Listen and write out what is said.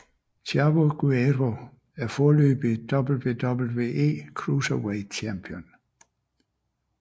Chavo Guerrero er foreløbig WWE Cruiserweight Champion